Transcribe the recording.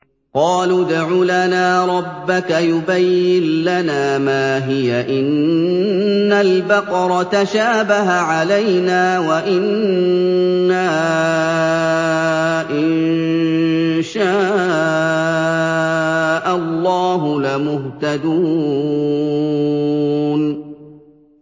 قَالُوا ادْعُ لَنَا رَبَّكَ يُبَيِّن لَّنَا مَا هِيَ إِنَّ الْبَقَرَ تَشَابَهَ عَلَيْنَا وَإِنَّا إِن شَاءَ اللَّهُ لَمُهْتَدُونَ